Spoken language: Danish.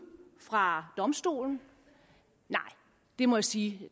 fra domstolen nej det må jeg sige